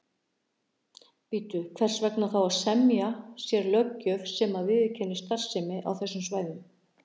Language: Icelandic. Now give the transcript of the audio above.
Bíddu, hvers vegna þá að semja sér löggjöf sem að viðurkennir starfsemi á þessum svæðum?